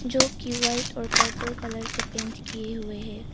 जो कि व्हाईट और पर्पल कलर से पैंट किए हुए है।